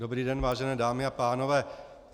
Dobrý den, vážené dámy a pánové.